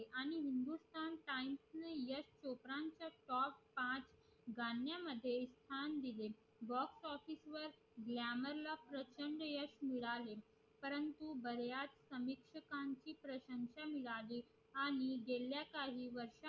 पाच गण्या मध्ये स्थान दिले box office वर यश मिळाले कारण कि बऱ्याच प्रशाशन मिळाले आणि गेल्या काही वर्षा